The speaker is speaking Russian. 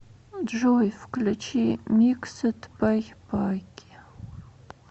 джой включи микседбайпаки